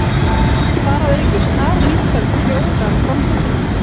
Þar að auki snarminnkaði þjóðarframleiðslan